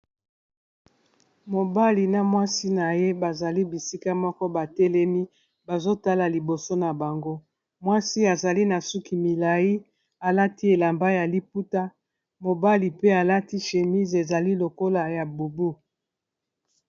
Mobali na mwasi na ye bazali bisika moko batelemi bazotala liboso na bango, mwasi azali na suki milai alati elamba ya liputa mobali pe alati shémis ezali lokola ya bubu.